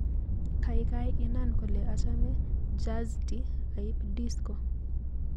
Kaikai inaan kole achame jazti aiib disco